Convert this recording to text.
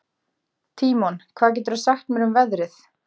Tímon, hvað geturðu sagt mér um veðrið?